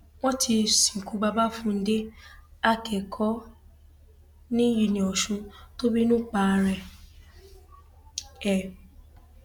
wọn ti sìnkú babafúndé akẹkọọ um uniosun tó bínú pa ara um ẹ